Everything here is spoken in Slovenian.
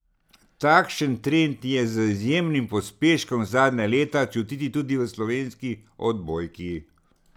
Takšen trend je z izjemnim pospeškom zadnja leta čutiti tudi v slovenski odbojki.